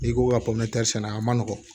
I ko ka sɛnɛ a man nɔgɔn